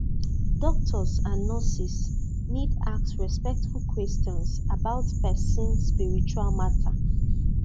doctors and nurses need ask respectful questions about person spiritual matter